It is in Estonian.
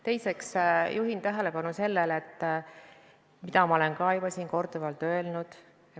Teiseks juhin tähelepanu sellele, mida ma olen juba korduvalt öelnud.